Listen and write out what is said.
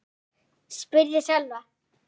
spurði Solla.